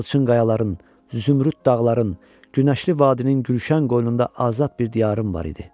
Yalçın qayaların, zümrüd dağların, günəşli vadinin gülşən qoynunda azad bir diyarım var idi.